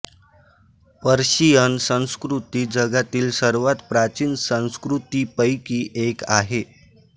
Persian संस्कृती जगातील सर्वात प्राचीन संस्कृतीपैकी एक आहे